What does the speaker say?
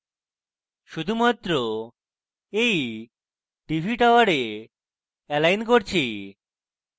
শুধুমাত্র এই tv tower align করছি